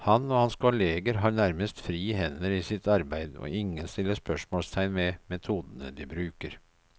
Han og hans kolleger har nærmest frie hender i sitt arbeid, og ingen stiller spørsmålstegn ved metodene de bruker.